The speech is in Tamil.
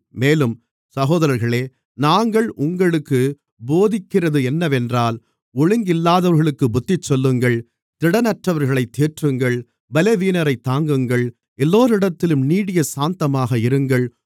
மேலும் சகோதரர்களே நாங்கள் உங்களுக்குப் போதிக்கிறதென்னவென்றால் ஒழுங்கில்லாதவர்களுக்குப் புத்திசொல்லுங்கள் திடனற்றவர்களைத் தேற்றுங்கள் பலவீனரைத் தாங்குங்கள் எல்லோரிடத்திலும் நீடியசாந்தமாக இருங்கள்